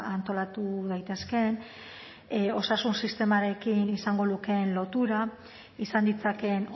antolatu daitezkeen osasun sistemarekin izango lukeen lotura izan ditzakeen